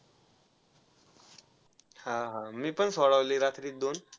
हा हा मी पण सोडवले रात्रीत दोन.